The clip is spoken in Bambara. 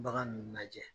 Bagan ninnu lajɛ